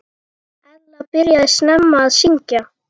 Ella byrjaði snemma að syngja.